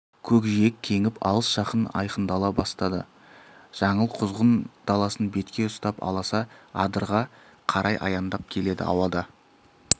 көкжиек кеңіп алыс-жақын айқындала бастады жаңыл құзғын даласын бетке ұстап аласа адырға қарай аяңдап келеді ауада